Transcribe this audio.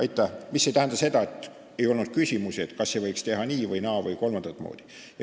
See ei tähenda, et ei oleks olnud küsimusi, kas ei võiks teha nii- või naa- või kolmandat moodi.